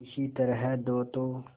किसी तरह दो तो